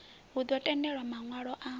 hu ḓo tendelwa maṋwalo a